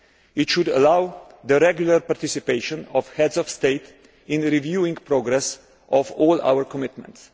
It should allow the regular participation of heads of state in reviewing the progress of all our commitments.